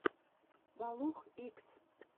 балух икс